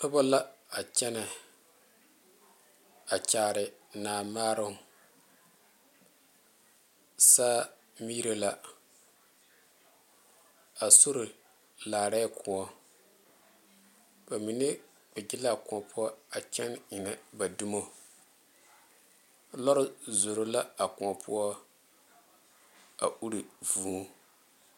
Noba la a kyɛnɛ a kyaare Naa maaroŋ saa miire la a sori laarɛɛ kóɔ ba mine kpɛ be la a kóɔ poɔ a kyɛnɛ ennɛ ba dumoŋ lɔɛ zoro la a kóɔ poɔ a ire vûū